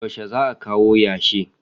Yaushe za a kawo yashi?